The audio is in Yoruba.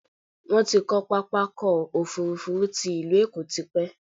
Wọ́́n ti kọ́ pápákọ̀ òfurufú ti ilú Èkó tipẹ́